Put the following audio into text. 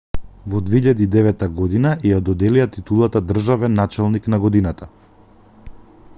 во 2009 година ѝ ја доделија титулата државен началник на годината